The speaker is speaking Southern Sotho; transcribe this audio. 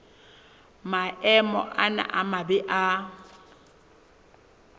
maemo ana a mabe a